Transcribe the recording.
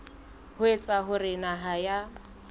ho etsa hore naha ya